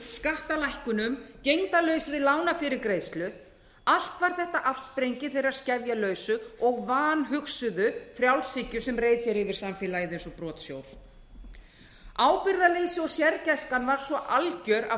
skattalækkunum gegndarlausri lánafyrirgreiðslu allt var þetta afsprengi þeirrar skefjalausu og vanhugsuðu frjálshyggju sem reið yfir samfélagið eins og brotsjór ábyrgðarleysi og sérgæskan var svo alger af